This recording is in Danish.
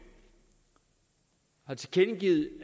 har tilkendegivet